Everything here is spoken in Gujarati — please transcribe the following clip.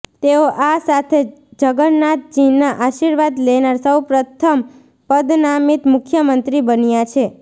તેઓ આ સાથે જગન્નાથજીના આશીર્વાદ લેનાર સૌ પ્રથમ પદનામિત મુખ્યમંત્રી બન્યા છે